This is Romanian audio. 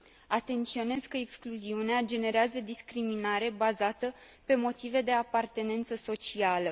Atenționez că excluziunea generează discriminare bazată pe motive de apartenență socială.